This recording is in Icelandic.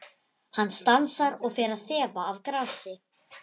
Hann stansar og fer að þefa af grasi.